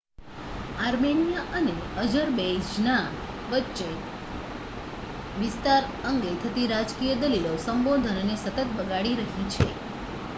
Armenia અને Azerbaijan વચ્ચે વિસ્તાર અંગે થતી રાજકીય દલીલો સબંધોને સતત બગાડી રહી છે